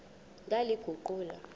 ndaliguqula